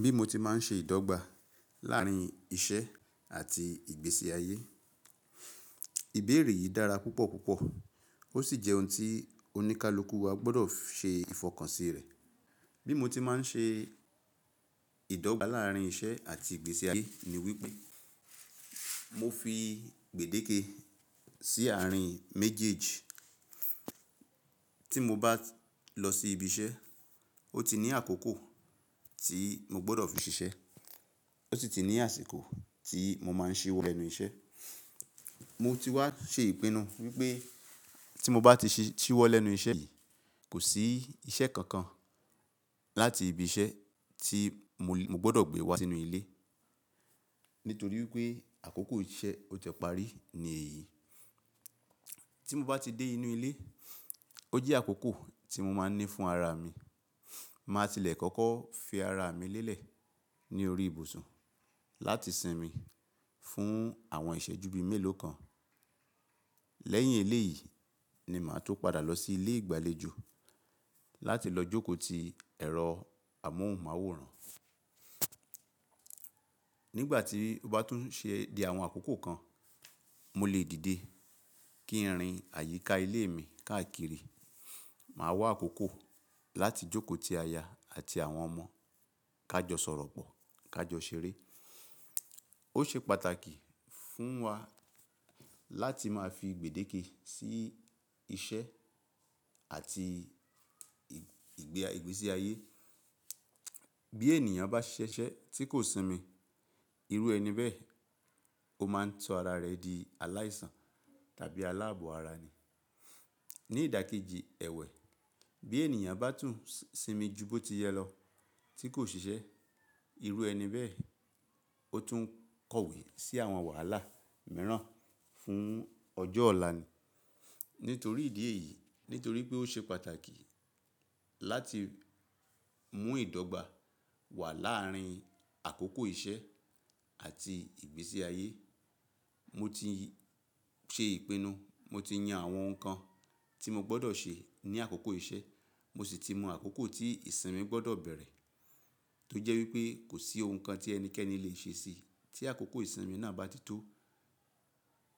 Bí mo ti máa ń ṣe ìdọ́gba láàrín iṣẹ́ àti ìgbésí ayé. Ìbéèrè yìí dára púpọ̀ púpọ̀ ó sì jẹ́ ohun tí oníkálukú wa gbọdọ̀ ṣe ìfọkànsì rẹ̀. Bí mo ti máa ń ṣe ìdọ́gba láàrín iṣẹ́ àti ìgbésí ayé ni wípé mo fi gbèdéke sí àárín méjèèjì. Tí mo bá lọ sí ibi iṣẹ́, ó ti ní àkókò tí mo gbọdọ̀ fi ṣiṣẹ́, ó sì ti ní àsìkò tí mo máa n ṣíwọ́ ẹ́nu iṣẹ́. Mo ti wá ṣe ìpinu wípé tí mo bá ti ṣíwọ́ lẹ́nu iṣẹ́ yìí, kò sí iṣẹ́ kankan láti ibi iṣẹ́ tí mo gbọdọ̀ gbé wá sínú ilé nítorí wípé àkókò iṣẹ́ ó ti parí ní èyí. Tí mo bá ti dé inú ilé, ó jẹ́ àkókò tí mo máa ń ní fún ara mi. Màá tilẹ̀ kọ̀ko fi ara mi lélẹ̀ ní orí ibùsùn láti sinmi fún àwọn ìṣẹ́jú bí méèló kan. Lẹ́yìn eléyìí ni màá tó padà lọ sí ilé ìgbàlejò láti lọ jókòó ti ẹ̀rọ amóhùnmáwòrán. Nígbà tí ó bá tún ṣe di àwọn àkókò kan, mo lè dìde kí n rìn ayíká ilé mi káàkiri. Màá wá àkókò láti jókòó ti aya àti àwọn ọmọ ká jọ sọ̀rọ̀ pọ̀, ká jọ ṣeré. Ó ṣe pàtàkì fún wa láti máa fi gbèdéke sí iṣẹ́ àti ìgbésí ayé. Bí ènìyàn bá ṣiṣẹ́ tí kò sinmi, irú ẹni bẹ́ẹ̀ ó máa ń tọ ara rẹ̀ di aláìsàn tàbí aláàbọ̀ ara ni. Ní ìdákẹ́jì ẹ̀wẹ̀, bí ènìyàn bá tún sinmi ju bó ti yẹ lọ tí kò ṣiṣẹ́, irú ẹni bẹ́ẹ̀ ó tún ń kọ̀wé sí àwọn wàhálà mìíràn fún ọjọ́ ọ̀la ni. Nítorí ìdí èyí, nítorí pé ó ṣe pàtàkì láti mú ìdọ́gba wà láàrín àkókò iṣẹ́ àti ìgbésí ayé, mo ti ṣe ìpinu, mo ti yan àwọn nǹkan tí mo gbọdọ̀ ṣe ní àkókò iṣẹ́, mo sì ti mọ àkókò tí ìsinmi gbọdọ̀ bẹ̀rẹ̀ tó jẹ́ wípé kò sí ohun kan tí ẹnikẹ́ni le è ṣe sí i tí àkókò ìsinmi náà bá ti tó.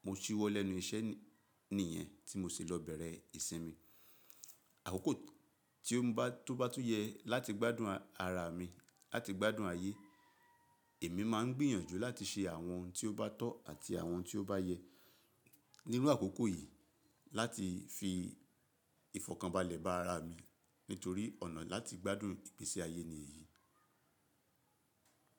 Mo ṣíwọ́ lẹ́nu iṣẹ́ nìyẹn tí mo ṣi lọ bẹ̀rẹ̀ ìsinmi. Àkókò tó bá tún yẹ láti gbádùn ara mi, láti gbádùn ayé, èmi máa ń gbìyànjú láti ṣe àwọn ohun tí ó bá tọ́ àti àwọn ohun tí ó bá yẹ níru àkókò yìí láti fi ìfọ̀kànbalẹ̀ bá ara mi nítorí ọ̀nà láti gbádùn ìgbésí ayé ni èyí.